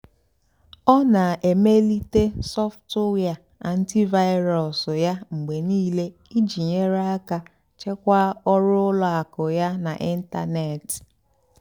ọ́ nà-èmélìté sọ́ftụ́wíà ántị́vírú́s yá mgbe níìlé ìjì nyèrè àká chèkwáà ọ́rụ́ ùlọ àkụ́ yá n'ị́ntánètị́.